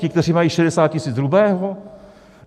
Ti, kteří mají 60 tisíc hrubého?